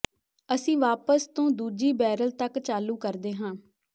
ਅਸੀਂ ਵਾਪਸ ਤੋਂ ਦੂਜੀ ਬੈਰਲ ਤੱਕ ਚਾਲੂ ਕਰਦੇ ਹਾਂ